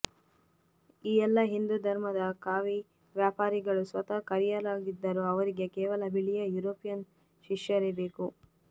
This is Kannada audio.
ಈ ಎಲ್ಲಾ ಹಿಂದೂ ಧರ್ಮದ ಕಾವಿ ವ್ಯಾಪಾರಿಗಳು ಸ್ವತಃ ಕರಿಯರಾಗಿದ್ದರೂ ಅವರಿಗೆ ಕೇವಲ ಬಿಳಿಯ ಯೂರೋಪಿಯನ್ ಶಿಷ್ಯರೇ ಬೇಕು